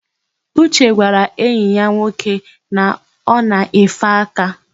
Uche gwara enyi ya nwoke na o na-efe aka.